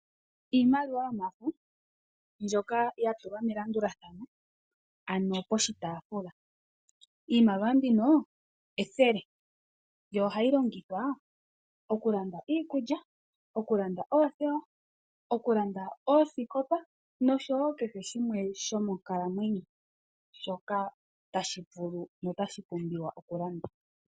Iimaliwa mbyoka yo mafo, mbyoka ya tulwa melandulathano, ano poshi taafula . Iimaliwa mbino ethele, yo ohayi longithwa oku landa iikulya, oku landa oothewa, oku landa oosikopa nosho wo kehe shimwe sho monkalamwenyo shoka tashi vulu no tashi pumbiwa okulandwa.